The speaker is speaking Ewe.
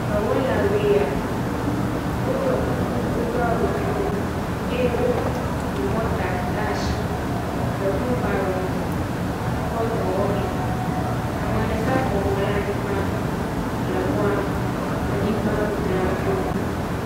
Dɔwɔlawoe ya woɖɔ kuku wodo awu blɔ ye woku mɔta ɖe asi le wheel barrow me kɔ dɔ wɔm mee, ame ɖeka bɔbɔ ɖe anyigba le mɔa..anyigba dzram ɖo.